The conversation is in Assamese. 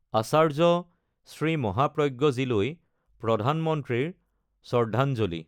আচাৰ্য শ্ৰী মহাপ্ৰজ্ঞজীলৈ প্ৰধানমন্ত্ৰীৰ শ্ৰদ্ধাঞ্জলি